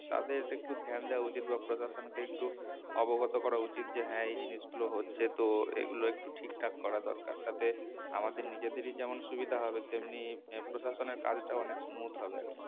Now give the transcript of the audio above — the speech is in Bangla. তাদেরকে একটু ধ্যান দেয়া উচিত বা প্রশাসনকে একটু অবগত করা উচিত যে হ্যাঁ এই জিনিসগুলো হচ্ছে তো এগুলো একটু ঠিকঠাক করা দরকার তাতে আমাদের নিজেদেরই যেমন সুবিধা হবে তেমনি হম প্রশাসনের কাজটাও অনেক smooth হবে আরকি